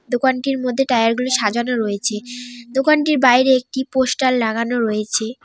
দোকানটির মধ্যে টায়ারগুলি সাজানো রয়েছে দোকানটির বাইরে একটি পোস্টার লাগানো রয়েছে।